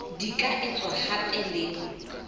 di ka etswa hape le